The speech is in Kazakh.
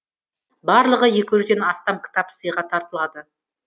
барлығы екі жүзден астам кітап сыйға тартылады